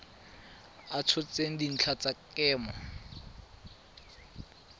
a tshotseng dintlha tsa kemo